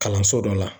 Kalanso dɔ la